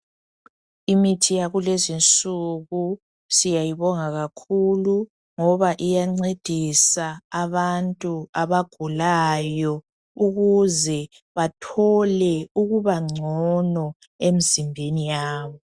Imithi yakulezi nsuku siyayibonga kakhulu ngoba iyancedisa abantu abagulayo ukuze bathole ukubangcono emzimbeni yabo .